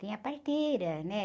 Tinha parteira, né?